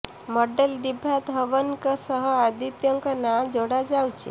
model Diva ଧୱନଙ୍କ ସହ ଆଦିତ୍ୟଙ୍କ ନାଁ ଯୋଡା ଯାଉଛି